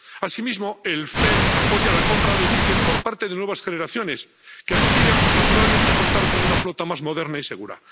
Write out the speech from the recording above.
Asimismo, el FEMP apoya la compra de buques por parte de nuevas generaciones, que aspiran naturalmente a contar con una flota más moderna y segura.